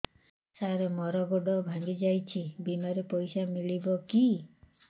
ସାର ମର ଗୋଡ ଭଙ୍ଗି ଯାଇ ଛି ବିମାରେ ପଇସା ମିଳିବ କି